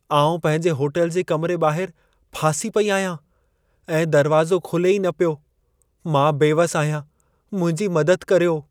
आउं पंहिंजे होटल जे कमिरे ॿाहरि फासी पेई आहियां ऐं दरवाज़ो खुले ई न पियो। मां बेवसि आहियां, मुंहिंजी मदद करियो।